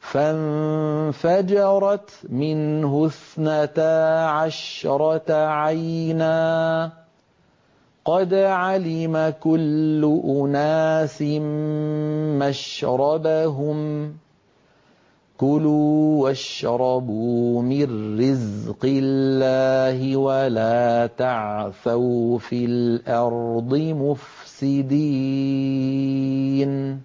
فَانفَجَرَتْ مِنْهُ اثْنَتَا عَشْرَةَ عَيْنًا ۖ قَدْ عَلِمَ كُلُّ أُنَاسٍ مَّشْرَبَهُمْ ۖ كُلُوا وَاشْرَبُوا مِن رِّزْقِ اللَّهِ وَلَا تَعْثَوْا فِي الْأَرْضِ مُفْسِدِينَ